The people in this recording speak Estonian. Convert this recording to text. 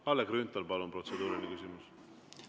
Kalle Grünthal, palun, protseduuriline küsimus!